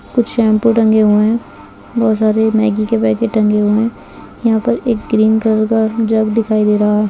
कुछ शैम्पू टँगे हुए हैं बहुत सारे मैगी के पैकेट टँगे हुए हैं यहाँ पर एक ग्रीन कलर का जग दिखाई दे रहा है।